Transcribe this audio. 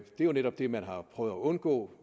netop det man har prøvet at undgå